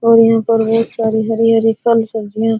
और यहां पर बहुत सारी हरी-हरी फल सब्जियां --